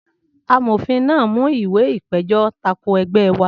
Amòfin náà mú ìwé ìpèjọ́ tako ẹgbẹ́ wá